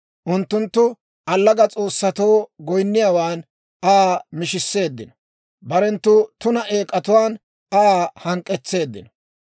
Unttunttu allaga s'oossatoo goyinniyaawan Aa mishisseeddino; barenttu tuna eek'atuwaan Aa hank'k'etseeddino.